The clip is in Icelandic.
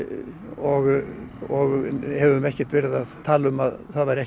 og og höfum ekkert verið að tala um að það væru